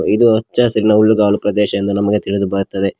ಇದು ಹಚ್ಚ ಹಸಿರಿನ ಹುಲ್ಲುಗವಾಲು ಪ್ರದೇಶವೆಂದು ನಮಗೆ ತಿಳಿದು ಬರುತ್ತದೆ.